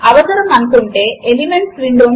4 times 3 equals 12